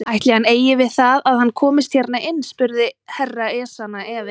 Ætli hann eigi við það að hann komist hérna inn spurði Herra Ezana efins.